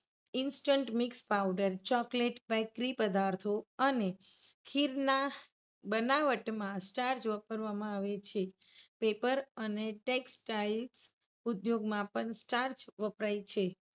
instant mix powder, chocolate, bakery પદાર્થૌ અને ખીરના બનાવટમાં starch વાપરવામાં આવે છે. paper અને textile ઉધ્યોગોમાં પણ starch વપરાય છે.